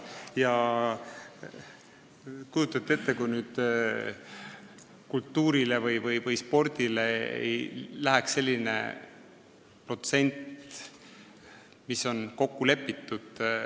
Kas te kujutate ette, et kultuurile või spordile ei lähe selline protsent, mis on kokku lepitud?